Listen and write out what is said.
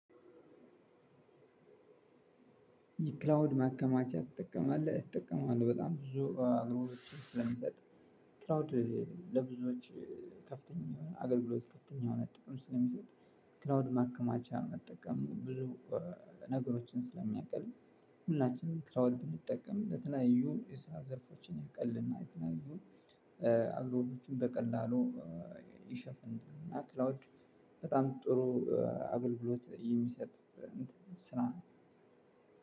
የክላውድ ማከማቻ ትጠቀማለህ እጠቀማለሁበጣም ብዙ አግሮ ስለሚሰጥ ክላውድ ለብዙዎች ከፍተኛ የሆነ አገልግሎት ከፍተኛ የሆነ ጥቅም ስለሚሰጥ ክላውድ ማከማቻ መጠቀም ብዙ ነገሮችን ስለሚያቀል። ሁላችንም ክላውድ ብንጠቀም ለተለያዩ የስራ ዘርፎችን ያቀልልና የተለያዩ አግሮዎችን በቀላሉ ይሸፍን እና ክላውድ በጣም ጥሩ አገልግሎት የሚሰጥ ስራ።